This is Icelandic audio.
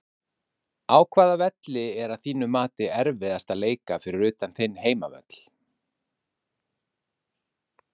Á hvaða velli er að þínu mati erfiðast að leika fyrir utan þinn heimavöll?